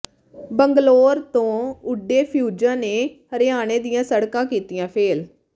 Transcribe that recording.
ਬੰਗਲੌਰ ਤੋਂ ਉੱਡੇ ਫਿਊਜ਼ਾਂ ਨੇ ਹਰਿਆਣੇ ਦੀਆਂ ਸੜਕਾਂ ਕੀਤੀਆਂ ਫੇਲ੍ਹ